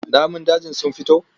Namun dajin sun fito?